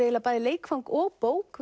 bæði leikfang og bók